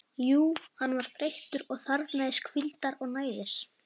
Jú, hann var þreyttur og þarfnaðist hvíldar og næðis.